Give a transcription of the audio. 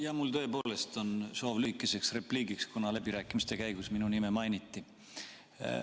Jaa, mul on tõepoolest soov lühikeseks repliigiks, kuna läbirääkimiste käigus minu nime mainiti.